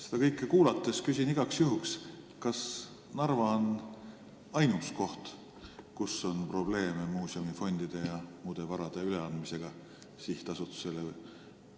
Seda kõike kuulanuna küsin igaks juhuks: kas Narva on ainus koht, kus on probleeme muuseumi fondide ja muu vara üleandmisega sihtasutusele?